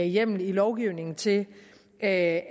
hjemmel i lovgivningen til at